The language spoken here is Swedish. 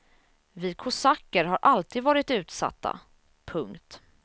Vi kosacker har alltid varit utsatta. punkt